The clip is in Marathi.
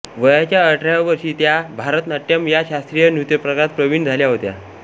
वयाच्या अठराव्या वर्षी त्या भरतनाट्यम या शास्त्रीय नृत्यप्रकारात प्रवीण झाल्या होत्या